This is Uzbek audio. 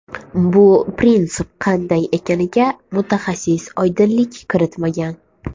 Bu prinsip qanday ekaniga mutaxassis oydinlik kiritmagan.